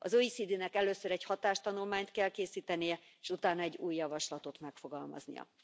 Az OECD nek először egy hatástanulmányt kell készítenie, és utána egy új javaslatot megfogalmaznia.